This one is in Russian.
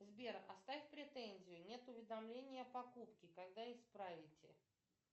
сбер оставь претензию нет уведомления о покупке когда исправите